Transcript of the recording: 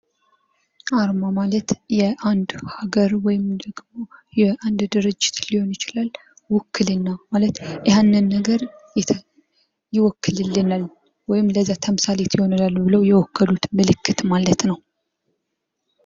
አርማ ማለት የአንድ ሃገር ወይንም ድርጅት ሊሆን ይችላል ዉክልና ማለት ያንን ነገር ይወክልልናል ውእይም ለዛ ተምሳሌት ይሆነናል ብለው የወከሉት ምልክት ማለት ነው።